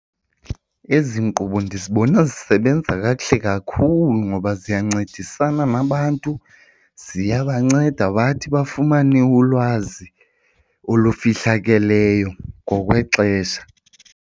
Ezi nkqubo ndizibona zisebenza kakuhle kakhulu ngoba ziyancedisana nabantu, ziyabanceda bathi bafumane ulwazi olufihlakeleyo ngokwexesha.